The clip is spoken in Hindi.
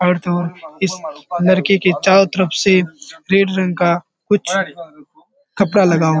और तो इस लड़के के चारों तरफ से रेड रंग का कुछ कपड़ा लगा हुआ --